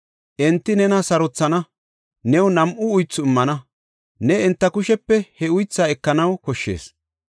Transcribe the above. Enti nena sarothana; new nam7u uythu immana; ne enta kushepe he uythaa ekanaw koshshees.